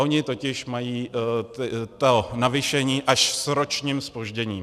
Oni totiž mají to navýšení až s ročním zpožděním.